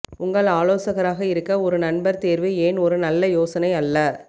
உங்கள் ஆலோசகராக இருக்க ஒரு நண்பர் தேர்வு ஏன் ஒரு நல்ல யோசனை அல்ல